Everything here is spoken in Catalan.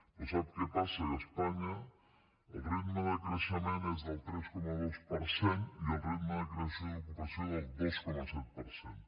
però sap què passa que a espanya el ritme de creixement és del tres coma dos per cent i el ritme de creació d’ocupació del dos coma set per cent